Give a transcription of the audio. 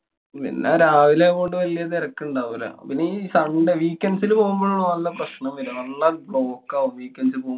പിന്നെ രാവിലെ അങ്ങോട്ടു വലിയ തെരക്കുണ്ടാവൂല. പിന്നെ ഈ sunday. weekend ല് പോവുംപോളോള്ളൂ നല്ല പ്രശ്നം വരാ. നല്ല block ആവും. weekend പോ~